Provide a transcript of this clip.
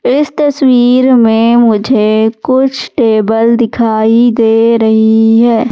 इस तस्वीर में मुझे कुछ टेबल दिखाई दे रही है।